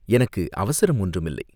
எனக்கு அவசரம் ஒன்றுமில்லை.